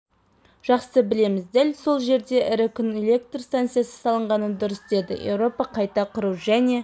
жақсы білеміз дәл сол жерде ірі күн электр станциясы салынғаны дұрыс деді еуропа қайта құру және